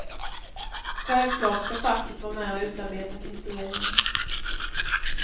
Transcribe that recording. Självklart ska facket vara med och utarbeta kriterierna.